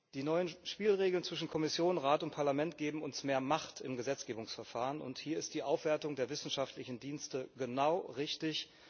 Die neuen Spielregeln zwischen Kommission, Rat und Parlament geben uns mehr Macht im Gesetzgebungsverfahren, und hier ist die Aufwertung der wissenschaftlichen Dienste genau richtig.